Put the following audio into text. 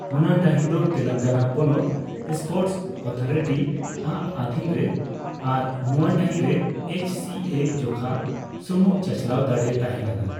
ᱚᱱᱟ ᱰᱟᱹᱦᱤ ᱫᱚ ᱛᱮᱞᱮᱝᱜᱟᱱᱟ ᱯᱚᱱᱚᱛ ᱥᱯᱳᱨᱴᱥ ᱚᱛᱷᱟᱨᱤᱴᱤ ᱟᱜ ᱟᱫᱷᱤᱱ ᱨᱮ ᱟᱨ ᱱᱚᱣᱟ ᱰᱟᱹᱦᱤ ᱨᱮ ᱮᱭᱤᱪ ᱥᱤ ᱮᱹ ᱡᱚᱠᱷᱟ ᱥᱩᱢᱩᱝ ᱪᱟᱪᱞᱟᱣ ᱫᱟᱲᱮ ᱛᱟᱦᱮᱸᱠᱟᱱᱟ ᱾